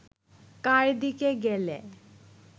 কার দিকে গেলে